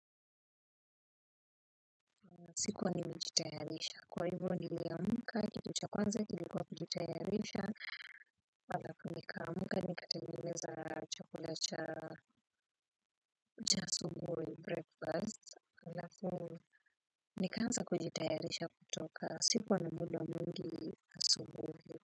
Sikuwa nimejitayarisha kwa hivo niliamka kitu cha kwanza kilikuwa kujitayarisha alafu nikaamumka nikatengeneza chakula cha asubuhi breakfast alafu nikaanza kujitayarisha kutoka sikuwa na muda mwingi asubuhi.